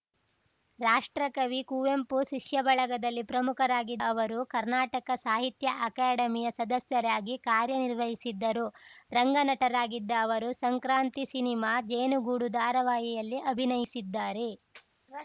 ರಾಷ್ಟ್ರಕವಿ ಕುವೆಂಪು ಶಿಷ್ಯ ಬಳಗದಲ್ಲಿ ಪ್ರಮುಖರಾಗಿದ್ದ ಅವರು ಕರ್ನಾಟಕ ಸಾಹಿತ್ಯ ಅಕಾಡೆಮಿಯ ಸದಸ್ಯರಾಗಿ ಕಾರ್ಯ ನಿರ್ವಹಿಸಿದ್ದರು ರಂಗ ನಟರಾಗಿದ್ದ ಅವರು ಸಂಕ್ರಾಂತಿ ಸಿನಿಮಾ ಜೇನುಗೂಡು ಧಾರಾವಾಹಿಯಲ್ಲಿ ಅಭಿನಯಿಸಿದ್ದಾರೆ